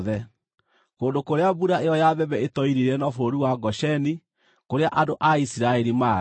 Kũndũ kũrĩa mbura ĩyo ya mbembe ĩtoirire no bũrũri wa Gosheni, kũrĩa andũ a Isiraeli maarĩ.